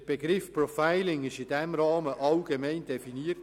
Der Begriff Profiling wurde in diesem Rahmen allgemein definiert.